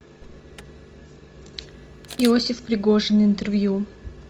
иосиф пригожин интервью